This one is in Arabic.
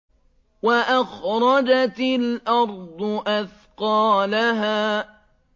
وَأَخْرَجَتِ الْأَرْضُ أَثْقَالَهَا